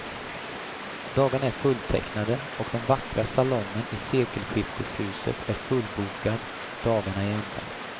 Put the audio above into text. Dagarna är fulltecknade, och den vackra salongen i sekelskifteshuset är fullbokad dagarna i ända.